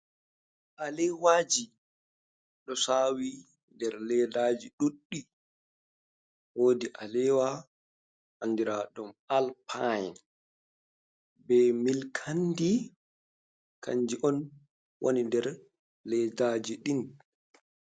Alewaji ɗo sawi nder leddaji duddi wodi a ewa andira ɗum alpine be milk kandi kanji on wani nder leddaji din.